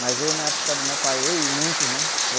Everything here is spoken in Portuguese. Mas eu, na época do meu pai, eu e muitos, né?